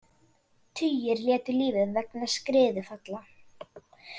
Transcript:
Tugir létu lífið vegna skriðufalla